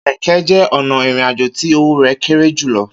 Kẹkẹ jẹ ọna irin àjò ti owo rẹ kéré julọ